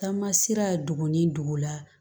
Taama sera dugu ni dugu la